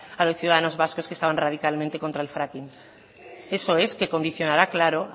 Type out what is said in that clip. a los ciudadanos vascos que estaban radicalmente contra el fracking eso es qué condicionará claro